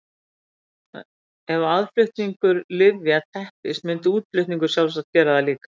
Ef aðflutningur lyfja teppist myndi útflutningur sjálfsagt gera það líka.